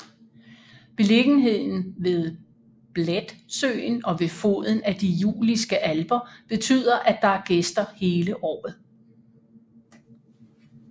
Beliggenheden ved Bledsøen og ved foden af de Juliske Alper betyder at der er gæster hele året